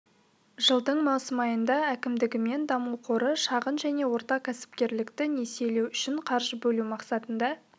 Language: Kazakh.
жылдың маусым айында әкімдігі мен даму қоры шағын және орта кәсіпкерлікті несиелеу үшін қаржы бөлу мақсатында